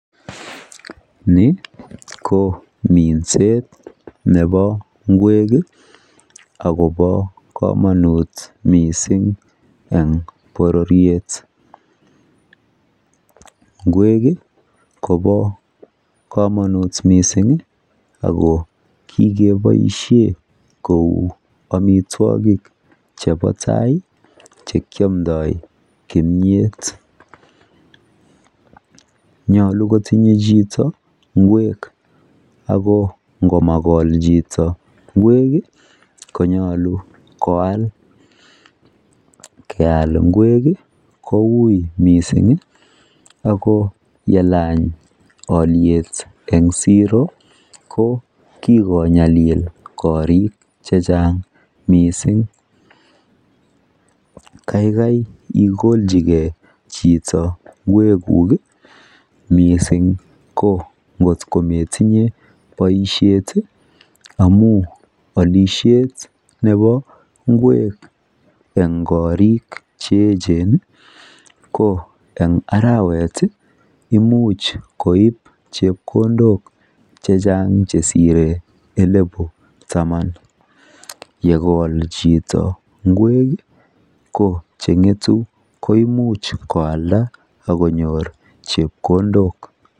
ni ko minseet nebo ngweek iih agobo komonuut mising en bororyeet, ngweek iih kobo komonuut mising iih ago kigeboishen kouu amitwogik chebo tai iih chekyomndoo kimyeet, nyolu kotinye chito ngweek konyolu koaal, yeaal ingweek iih koimuch mising ago yelaany olyeet en zero ko kigonyalil koriik chechang mising, kaigai igolchigee chito ngweek guuk iih mising iih ko ngot kometinye boishet iih amuun olishet nebo ngweek en koriik cheechen ko en araweet iih imuch koib chepkondook chechang chesire elifu tamaan, yegool chito ngweeek iih ko chengetu koimuch koalda ak konyoor chepkondook.